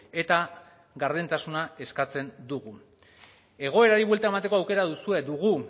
eta gardentasuna eskatzen dugu egoerari buelta emateko aukera duzue dugu